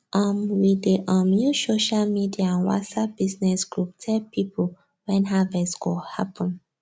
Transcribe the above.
um we dey um use social media and whatsapp business group tell people when harvest go happen